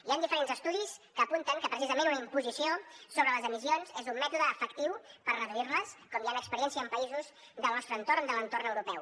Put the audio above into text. hi han diferents estudis que apunten que precisament una imposició sobre les emissions és un mètode efectiu per reduir les com hi han experiències en països del nostre entorn de l’entorn europeu